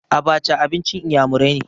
Abaca abincin iyamurai ne.